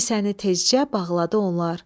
Kisəni tezcə bağladı onlar.